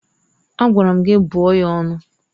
Agwara m gị bụọ ya ọnụ!